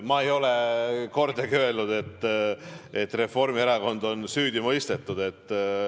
Ma ei ole kordagi öelnud, et Reformierakond on süüdi mõistetud.